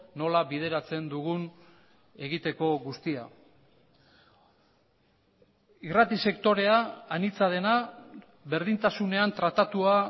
nola bideratzen dugun egiteko guztia irrati sektorea anitza dena berdintasunean tratatua